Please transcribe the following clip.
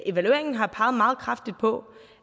evalueringen har peget meget kraftigt på